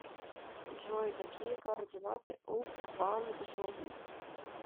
джой какие координаты у кванджу